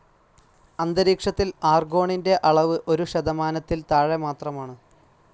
അന്തരീക്ഷത്തിൽ ആർഗോണിൻ്റെ അളവ് ഒരു ശതമാനത്തിൽ താഴെ മാത്രമാണ്.